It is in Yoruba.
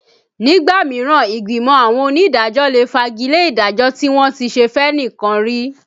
Nígbà mìíràn ìgbìmọ̀ àwọn onídàájọ́ lè fagi lé ìdájọ́ tí wọ́n ti ṣe fẹ́nìkan rí